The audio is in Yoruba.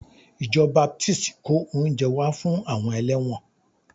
Ìjọ Baptist kó oúnjẹ wá fún àwọn ẹlẹ́wọ̀n